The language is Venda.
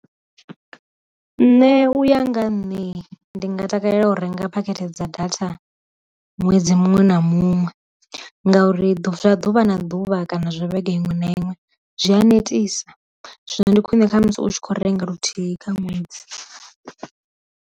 Nṋe uya nga nne ndi nga takalela u renga phakhethe dza data ṅwedzi muṅwe na muṅwe ngauri zwa ḓuvha na ḓuvha kana zwo vhege iṅwe na iṅwe zwi a netisa, zwino ndi khwine kha musi u tshi kho renga luthihi kha ṅwedzi.